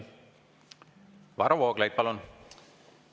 Varro Vooglaid, palun!